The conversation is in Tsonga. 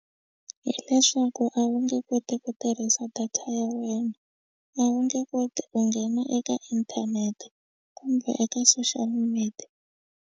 Hi leswaku a wu nge koti ku tirhisa data ya wena a wu nge koti ku nghena eka inthanete kumbe eka social media.